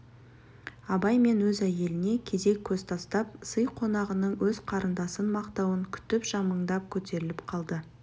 абай мен өз әйеліне кезек көз тастап сый қонағының өз қарындасын мақтауын күтіп жымыңдап көтеріліп қалды